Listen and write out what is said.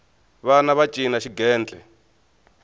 vana va cina xigentle